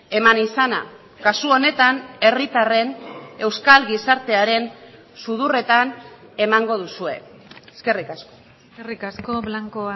eman izana kasu honetan herritarren euskal gizartearen sudurretan emango duzue eskerrik asko eskerrik asko blanco